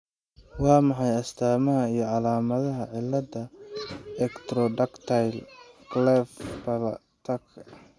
Waa maxay astamaha iyo calaamadaha cilada Ectrodactyly cleft palateka?